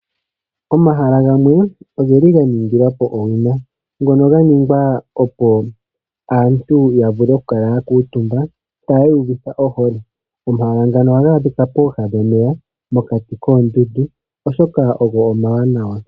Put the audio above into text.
Omahala gamwe ogeli ga ningilwapo owina. Ngono ga ningwapo opo aantu ya vule oku kala yakuuntumba tayi iyuvitha ohole. Omahala ngano ohaga adhika pooha dhomeya mokati koondundu oshoka ogo omawanawa.